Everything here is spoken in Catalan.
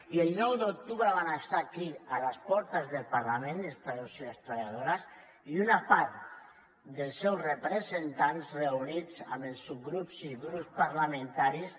i el nou d’octubre van estar aquí a les portes del parlament els treballadors i les treballadores una part dels seus representants reunits amb els subgrups i grups parlamentaris